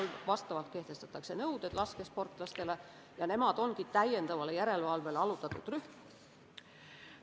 Sellele vastavalt kehtestatakse laskesportlastele nõuded ja nemad ongi lisajärelevalvele allutatud rühm.